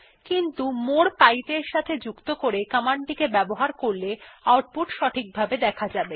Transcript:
কিন্তু মোরে পাইপ এর সাথে যুক্ত করে কমান্ড টি ব্যবহার করলে এটি সঠিকভাবে দেখা যাবে